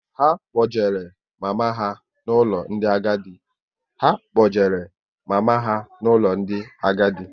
Ha kpojere mama ha n'ụlọ ndị agadi